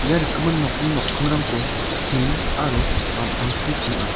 ia rikgimin nokni nokkingrangko tin aro ampangchi ping·a.